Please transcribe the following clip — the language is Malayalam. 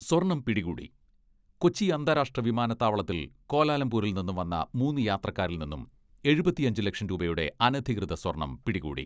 സ്വർണ്ണം പിടികൂടി, കൊച്ചി അന്താരാഷ്ട്ര വിമാനത്താവളത്തിൽ ക്വാലലംപൂരിൽ നിന്നും വന്ന മൂന്ന് യാത്രക്കാരിൽ നിന്നും എഴുപത്തിയഞ്ച് ലക്ഷം രൂപയുടെ അനധികൃത സ്വർണ്ണം പിടികൂടി.